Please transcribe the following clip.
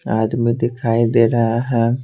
आदमी दिखाई दे रहा है।